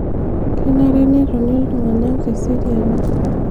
kenare netoni iltungana teseriani